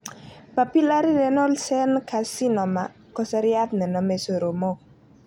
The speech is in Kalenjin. Papillary renal cell Carcinoma ko seriat nenome soromok.